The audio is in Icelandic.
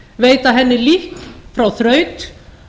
veita henni líkn frá þraut